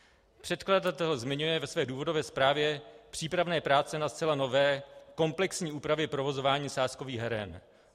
Předkladatel zmiňuje ve své důvodové zprávě přípravné práce na zcela nové komplexní úpravě provozování sázkových heren.